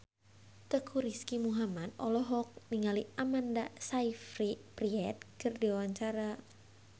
Teuku Rizky Muhammad olohok ningali Amanda Sayfried keur diwawancara